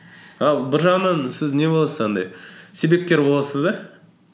ал бір жағынан сіз не боласыз андай себепкер боласыз да